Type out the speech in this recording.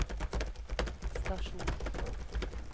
stasjon